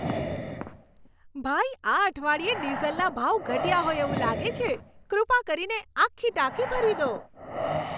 ભાઈ, આ અઠવાડિયે ડીઝલના ભાવ ઘટ્યા હોય એવું લાગે છે. કૃપા કરીને આખી ટાંકી ભરી દો.